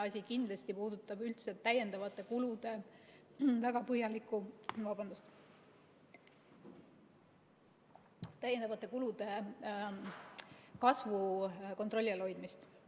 Esimene asi puudutab kindlasti üldse täiendavate kulude kasvu kontrolli all hoidmist.